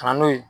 Ka na n'o ye